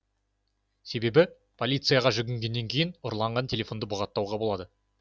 себебі полицияға жүгінгеннен кейін ұрланған телефонды бұғаттауға болады